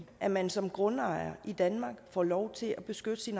at man som grundejer i danmark får lov til at beskytte sin